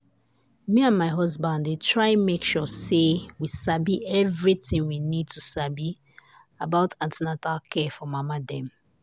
me and my husband dey try make sure say we sabi everything we need to sabi about an ten atal care for mama dem.